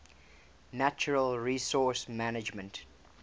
natural resource management